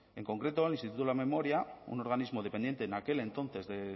en concreto el instituto de la memoria un organismo dependiente en aquel entonces de